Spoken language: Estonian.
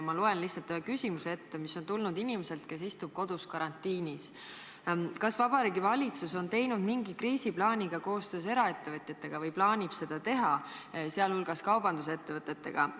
Ma loen lihtsalt ühe küsimuse ette, mis on tulnud inimeselt, kes istub kodus karantiinis: "Kas Vabariigi Valitsus on teinud mingi kriisiplaani ka koostöös eraettevõtjatega või plaanib seda teha, sh kaubandusettevõtetega?